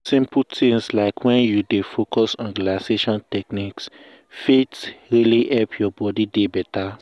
simple things like wen you dey focus on relaxation technique fit really help your body dey beta.